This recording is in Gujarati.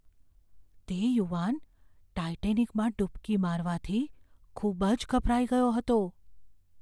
તે યુવાન ટાઈટેનિકમાં ડૂબકી મારવાથી ખૂબ જ ગભરાઈ ગયો હતો.